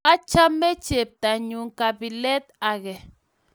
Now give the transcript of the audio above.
Achgame cheptanyun kabilet ake